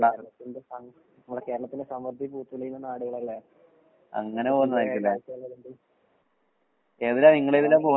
കേരളത്തിന്റെ സാം നമ്മുടെ കേരളത്തിന്റെ സമൃദ്ധി പൂത്തുലയുന്ന നാടുകളല്ലേ? ഇണ്ട്.